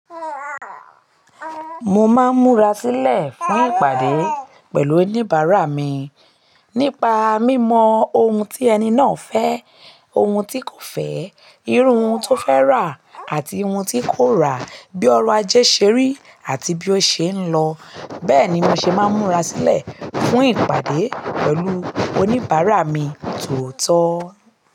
Mo máa ń múra sílẹ̀ fún ìpàdé pẹ̀lú oníbàárà mi nípa mímọ ohun tí ẹni náà fẹ́, ohun tí kò fẹ́, iru n tó fẹ́ rà àti ohun tí kò rà, bí ọrọ̀ ajé ṣé rí àti bí ó ṣe ń lọ. Bẹ́ẹ̀ ni mo ṣe máa ń múra sílẹ̀ fún ìpàdé pẹ̀lú oníbàárà mi tòótọ́.